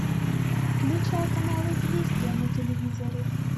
включай канал известия на телевизоре